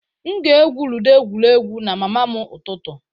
M ga-egwu ludo egwuregwu na mama m ụtụtụ.